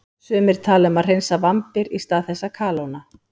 Sumir tala um að hreinsa vambir í stað þess að kalóna.